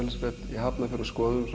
í Hafnarfjörð og skoðuðum